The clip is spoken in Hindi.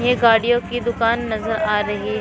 ये गाड़ियों की दुकान नजर आ रही है।